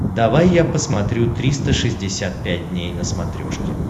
давай я посмотрю триста шестьдесят пять дней на смотрешке